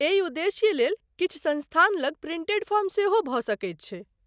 एहि उद्देश्य लेल किछु संस्थान लग प्रिंटेड फॉर्म सेहो भ सकैत छै ।